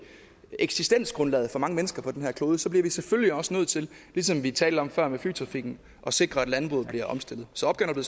eksistensgrundlaget for mange mennesker på den her klode bliver vi selvfølgelig også nødt til ligesom vi talte om før med flytrafikken at sikre at landbruget bliver omstillet så opgaven